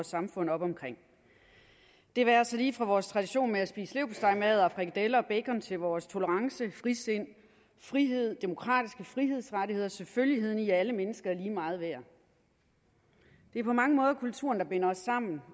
samfund op omkring det være sig lige fra vores tradition med at spise leverpostejmadder frikadeller og bacon til vores tolerance frisind frihed demokratiske frihedsrettigheder og selvfølgeligheden i at alle mennesker er lige meget værd det er på mange måder kulturen der binder os sammen